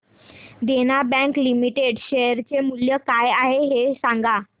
देना bank limited share चे मूल्य काय आहे हे सांगा